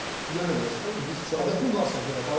Yenə də demək istəyirəm ki, biz sadəcə Hədəfin varsa əgər.